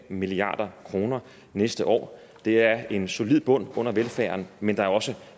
en milliard kroner næste år det er en solid bund under velfærden men der er også